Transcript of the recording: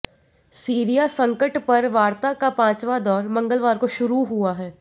Syria संकट पर वार्ता का पांचवा दौर मंगलवार को शुरू हुआ है